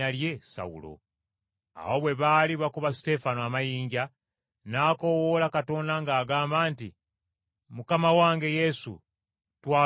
Awo bwe baali bakuba Suteefano amayinja, n’akoowoola Katonda ng’agamba nti, “Mukama wange Yesu, twala omwoyo gwange.”